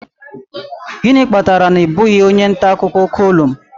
Gịnị kpatara na ị bụghị onye nta akụkọ kọlụm